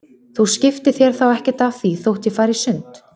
Þú skiptir þér þá ekkert af því þótt ég fari í sund?